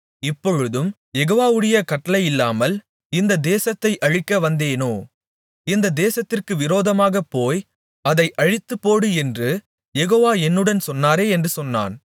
இப்பொழுதும் யெகோவாவுடைய கட்டளையில்லாமல் இந்தத் தேசத்தை அழிக்க வந்தேனோ இந்தத் தேசத்திற்கு விரோதமாகப் போய் அதை அழித்துப்போடு என்று யெகோவா என்னுடன் சொன்னாரே என்று சொன்னான்